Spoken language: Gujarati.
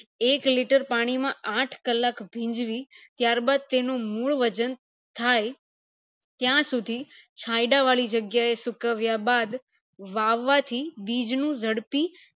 એક liter પાણી માં આઠ કલાક ભીંજવી ત્યારબાદ તેનું મૂળ વજન થાય ત્યાં સુધી ચાયડા વળી જગ્યા એ સુકવ્યા બાદ વાવા થી બીજ નું જડપી